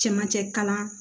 Cɛmancɛ kalan